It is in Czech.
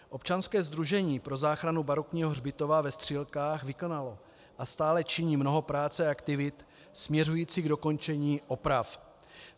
Občanské sdružení pro záchranu barokního hřbitova ve Střílkách vykonalo a stále činí mnoho práce a aktivit směřujících k dokončení oprav.